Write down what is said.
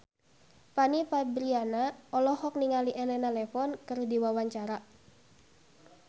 Fanny Fabriana olohok ningali Elena Levon keur diwawancara